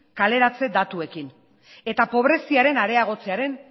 kaleratze datuekin eta pobreziaren areagotzearen